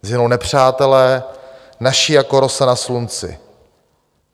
Zhynou nepřátelé naši jako rosa na slunci.